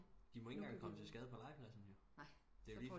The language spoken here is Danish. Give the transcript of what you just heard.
De må ingen gang komme til skade på legepladsen jo